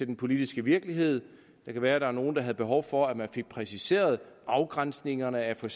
den politiske virkelighed det kan være at der er nogle der havde behov for at man fik præciseret afgrænsningerne af for